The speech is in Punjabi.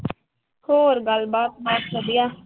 ਹੋਰ ਗੱਲਬਾਤ ਬਸ ਵਧੀਆ।